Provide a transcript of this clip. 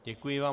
Děkuji vám.